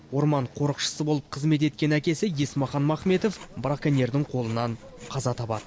орман қорықшысы болып қызмет еткен әкесі есмақан махметов браконьердің қолынан қаза табады